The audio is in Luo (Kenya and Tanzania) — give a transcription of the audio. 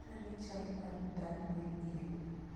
Nyisa ane sani chal mar danville il